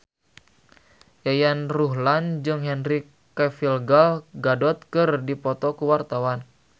Yayan Ruhlan jeung Henry Cavill Gal Gadot keur dipoto ku wartawan